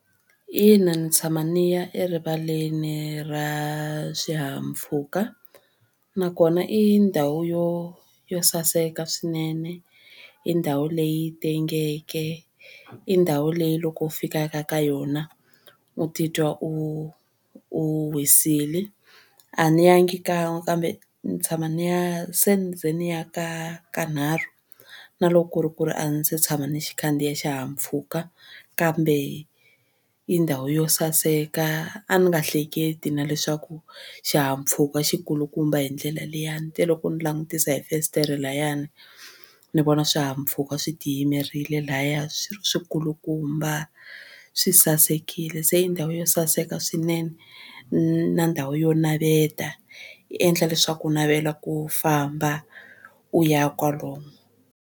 Ina ndzi tshama ndzi ya erivaleni ra swihahampfhuka nakona i ndhawu yo yo saseka swinene i ndhawu leyi tengeke i ndhawu leyi loko fikaka ka yona u titwa u u wisile. A ni yangi kan'we kambe ni tshama ni ya se ni ze ni ya ka kanharhu na loko ku ri ku ri a ndzi se tshama ni xi khandziya xihahampfhuka kambe i ndhawu yo saseka a ni nga hleketi na leswaku xihahampfhuka xikulukumba hi ndlela liyani ni te loko ni langutisa hi fasitere layani ni vona swihahampfhuka swi tiyimerile lahaya swikulukumba swi sasekile se yi ndhawu yo saseka swinene na ndhawu yo naveta yi endla leswaku ku navela ku famba u ya kwalomo.